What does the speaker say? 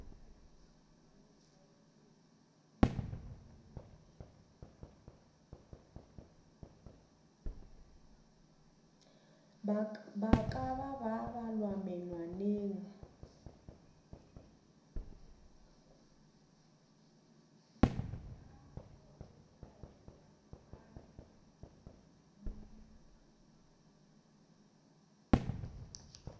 ba ka ba balwa menwaneng